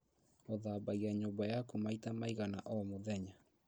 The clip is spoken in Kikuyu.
ũthambagia nyumba yaku maita maigana o mũthenya?